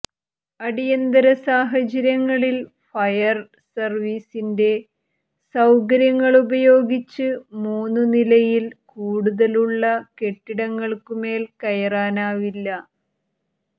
അടിയന്തരസാഹചര്യങ്ങളിൽ fire സർവീസിന്റെ സൌകര്യങ്ങളുപയോഗിച്ച് മൂന്നുനിലയിൽ കൂടുതലുള്ള കെട്ടിടങ്ങൾക്കുമേൽ കയറാനാവില്ല